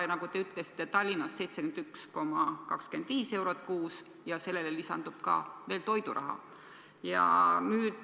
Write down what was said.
Ja nagu te ka ütlesite, Tallinnas on kohatasu 71,25 eurot ja sellele lisandub veel toiduraha.